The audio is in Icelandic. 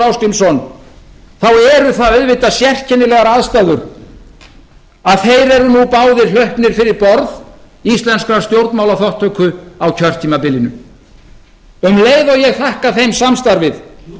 ásgrímsson þá eru það auðvitað sérkennilegar aðstæður að þeir eru nú báðir hrokknir fyrir borð íslenskrar stjórnmálaþátttöku á kjörtímabilinu um leið og ég þakka þeim samstarfið